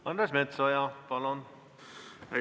Andres Metsoja, palun!